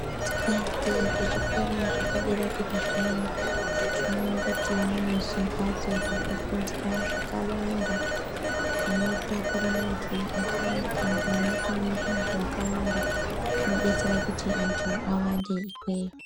Tikaenda kuchikora chepadera-dera zviyani, tinoone kuti mune zvimhatso zvekufundira zvakawanda zvinotakure antu akawanda kana kuti munokwane vantu vakawanda zvinodetsera kuti antu awande ikweyo.